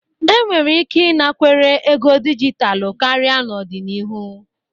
Enwere ike ịnakwere ego dijitalụ karịa n'ọdịnihu.